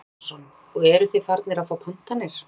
Kristján Már Unnarsson: Og eruð þið farnir að fá pantanir?